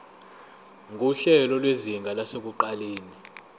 nguhlelo lwezinga lasekuqaleni